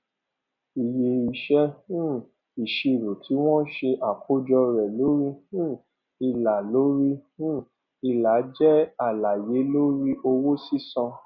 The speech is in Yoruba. iye iṣẹ um ìṣirò tí wọn ṣe àkọjọ rẹ lórí um ìlà lórí um ìlà jẹ àlàyé lórí owó sísan